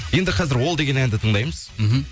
енді қазір ол деген әнді тыңдаймыз мхм